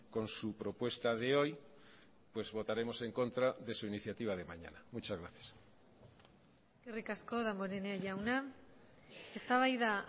con su propuesta de hoy pues votaremos en contra de su iniciativa de mañana muchas gracias eskerrik asko damborenea jauna eztabaida